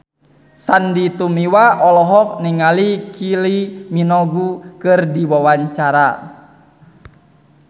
Sandy Tumiwa olohok ningali Kylie Minogue keur diwawancara